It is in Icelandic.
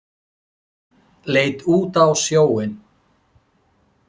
Leit út á sjóinn.